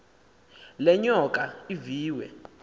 le nyoka iviwe